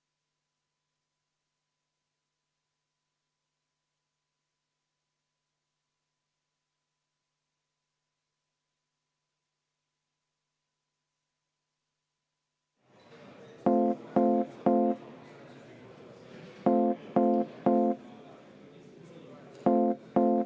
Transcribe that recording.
Ma alati hindan, kui tugev see heli saalis on.